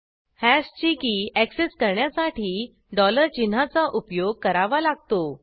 हॅशची की ऍक्सेस करण्यासाठी डॉलर चिन्हाचा उपयोग करावा लागतो